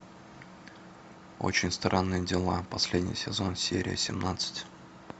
очень странные дела последний сезон серия семнадцать